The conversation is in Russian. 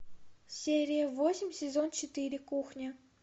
серия восемь сезон четыре кухня